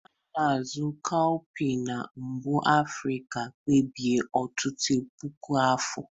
A na-azụ cowpeas na mbụ n'Africa kemgbe ọtụtụ puku afọ.